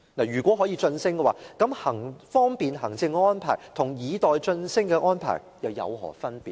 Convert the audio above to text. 如果可以晉升，那麼方便行政和以待晉升的安排又有何分別呢？